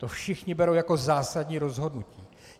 To všichni berou jako zásadní rozhodnutí.